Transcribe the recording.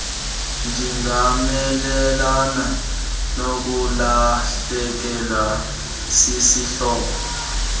ndingamelana nokulahlekelwa sisihlobo